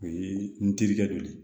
O ye n terikɛ dɔ ye